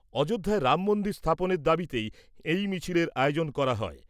অযোধ্যায় রামমন্দির স্থাপনের দাবিতেই এই মিছিলের আয়োজন করা হয়।